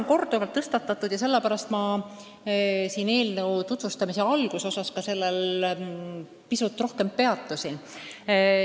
Seda on korduvalt tõstatatud ja sellepärast ma eelnõu tutvustamise alguses ka sellel pisut rohkem peatusin.